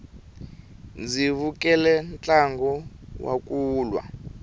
ndzi vukele ntlangu wa kulwa